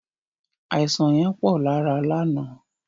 Àisàn yẹn pọ̀ lára lánàá.